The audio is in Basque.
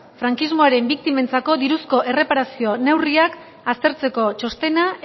frankismoaren biktimentzako diruzko erreparazio neurriak aztertzeko txostena